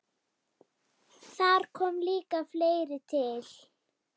Þar kom líka fleira til.